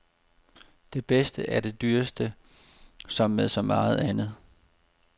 Det bedste er det dyreste, som med så meget andet.